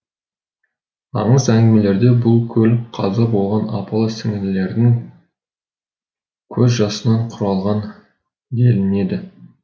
аңыз әңгімелерде бұл көл қаза болған апалы сіңлілердің көз жасынан құралған делінеді